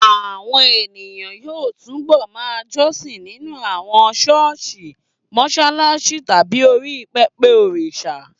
Àwọn ènìyàn yóò túbọ̀ ma jọ́sìn nínú àwọn ṣọ́ọ̀ṣì, mọṣáláṣí tàbí orí pẹpẹ òrìṣà